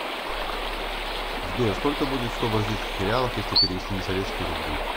сбер сколько будет сто бразильских реалов если перевести на советские рубли